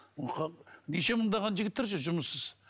неше мыңдаған жігіттер жүр жұмыссыз